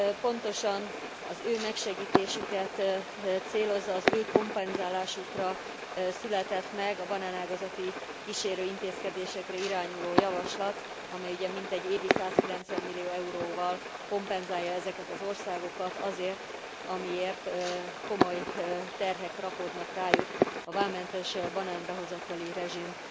Pontosan az ő megsegítésüket célozza, az ő kompenzálásukra született meg a banánágazati kísérőintézkedésekre irányuló javaslat, amely ugye mintegy évi 190 millió euróval kompenzálja ezeket az országokat azért, amiért komoly terhek rakódnak rájuk a vámmentes banánbehozatali rezsim